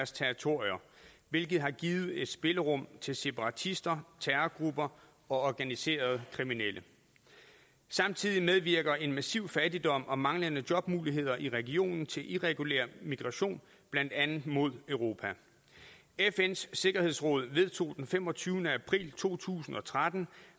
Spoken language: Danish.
territorier hvilket har givet et spillerum til separatister terrorgrupper og organiserede kriminelle samtidig medvirker en massiv fattigdom og manglende jobmuligheder i regionen til irregulær migration blandt andet mod europa fns sikkerhedsråd vedtog den femogtyvende april to tusind og tretten